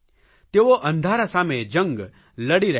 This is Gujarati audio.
તેઓ અંધારા સામે જંગ લડી રહ્યાં છે